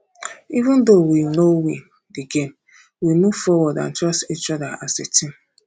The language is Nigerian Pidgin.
even though we no win the game we move forward and trust each other as a team um